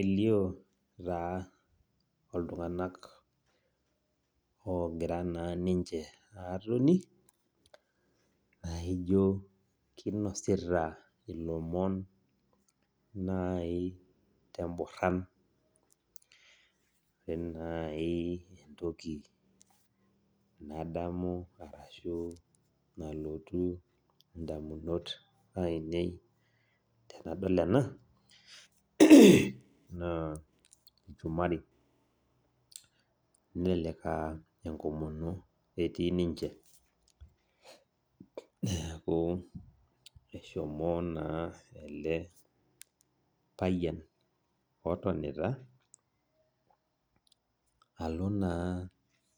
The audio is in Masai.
Elio taa oltunganak ogira na ninche atoni na ijo kinasita lomon temboran nai nadamu arashu nalotu ndamunot ainei tenadol ena na lchumari nelek aa enkomono etii ninche neaku eshomo na ele payian otonita alo na